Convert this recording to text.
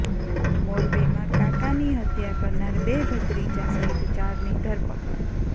મોરબીમાં કાકાની હત્યા કરનાર બે ભત્રીજા સહીત ચારની ધરપકડ